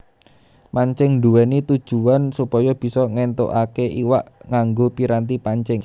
Mancing nduwèni tujuwan supaya bisa ngéntukaké iwak nganggo piranti pancing